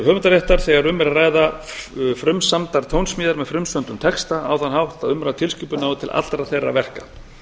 höfundaréttar þegar um er að ræða frumsamdar tónsmíðar með frumsömdum texta á þann hátt að umrædd tilskipun nái til allra þeirra verka